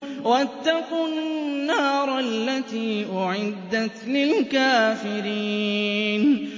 وَاتَّقُوا النَّارَ الَّتِي أُعِدَّتْ لِلْكَافِرِينَ